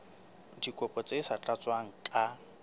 dikopo tse sa tlatswang ka